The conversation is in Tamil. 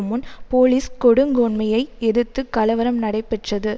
முன் போலீஸ் கொடுங்கோன்மையை எதிர்த்து கலவரம் நடைபெற்றது